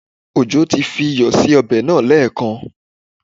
Òjó ti fi iyọ̀ sí ọbẹ̀ náà lẹ́ẹ̀kan